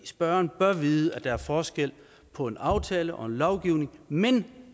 spørgeren bør vide at der er forskel på en aftale og lovgivning men